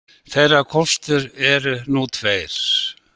Þeirra kostir eru nú tveir